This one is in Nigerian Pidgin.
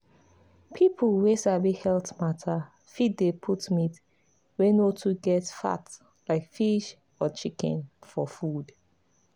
people wey sabi health matter fit dey put meat wey no too get fat like fish or chicken for food.